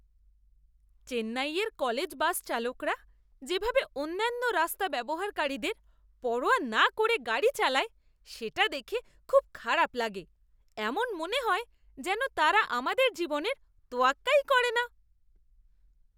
চেন্নাইয়ের college bus চালকরা যেভাবে অন্যান্য রাস্তা ব্যবহারকারীদের পরোয়া না করে গাড়ি চালায় সেটা দেখে খুব খারাপ লাগে। এমন মনে হয় যেন তারা আমাদের জীবনের তোয়াক্কাই করে না।